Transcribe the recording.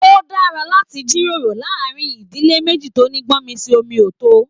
O dára láti jíròrò láàrin ìdílé meji tó ní gbọ̀nmisi-omi-o-to.